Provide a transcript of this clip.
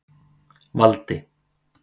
Valdi